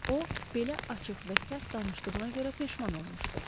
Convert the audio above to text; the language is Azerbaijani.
O, belə açıq və sərt danışdığına görə peşman olmuşdu.